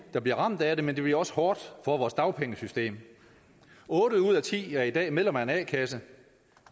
der bliver ramt af det men det bliver også hårdt for vores dagpengesystem otte ud af ti er i dag medlem af en a kasse